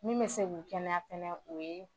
Min bɛ se k'u kɛnɛya fɛnɛ o ye.